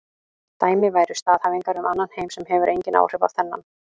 Dæmi væru staðhæfingar um annan heim sem hefur engin áhrif á þennan.